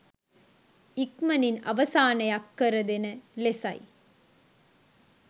ඉක්මනින් අවසානයක් කර දෙන ලෙසයි